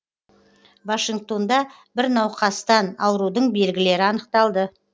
вашингтонда бір науқастан аурудың белгілері анықталды